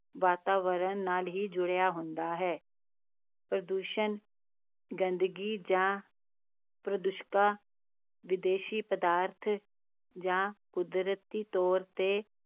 ਵਾਤਾਵਰਨ ਨਾਲ ਹੀ ਜੁੜਿਆ ਹੁੰਦਾ ਹੈ, ਪ੍ਰਦੂਸ਼ਣ ਗੰਦਗੀ ਜਾਂ ਪ੍ਰਦੂਸ਼ਕਾਂ ਵਿਦੇਸ਼ੀ ਪਦਾਰਥਾਂ ਜਾਂ ਕੁਦਰਤੀ ਤੌਰ 'ਤੇ